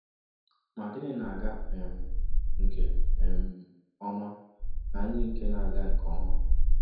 Ma gịnị na-aga um nke um ọma na ndị nke na-aga nke ọma?